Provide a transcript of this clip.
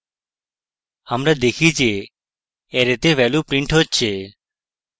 আমরা দেখি যে অ্যারেতে ভ্যালু printed হচ্ছে